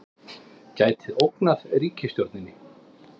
Gæti ógnað ríkisstjórninni